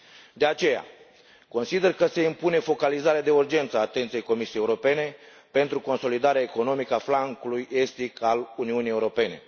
De aceea, consider că se impune focalizarea de urgență a atenției Comisiei Europene pentru consolidarea economică a flancului estic al Uniunii Europene.